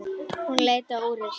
Hún leit á úrið sitt.